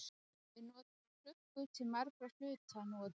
Við notum klukkur til margra hluta nú á dögum.